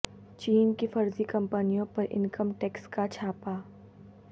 چین کی فرضی کمپنیوں پر انکم ٹیکس کا چھاپہ